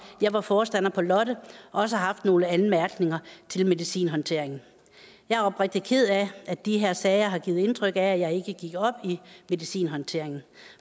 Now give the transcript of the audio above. jeg var forstander på lotte også har haft nogle anmærkninger til medicinhåndteringen jeg er oprigtig ked af at de her sager har givet indtryk af at jeg ikke gik op i medicinhåndteringen